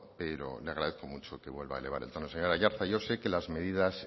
pero le agradezco mucho que vuelva a elevar el tono señor aiartza yo sé que las medidas